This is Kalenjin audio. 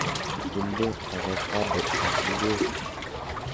Inde avocado ak ngwek.